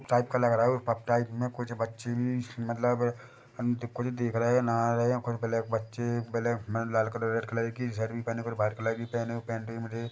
type का लग रहा है ऊपर टाइप में कुछ बच्चे भी मतलब अन-ते कुछ देख रहे है नहा रहे है कुछ ब्लैक बच्चे ब्लैक में लाल कलर की